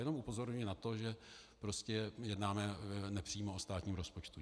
Jenom upozorňuji na to, že prostě jednáme nepřímo o státním rozpočtu.